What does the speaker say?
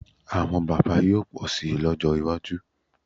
Àwọn bábà yóò pọ̀ síi lọ́jọ́ iwájú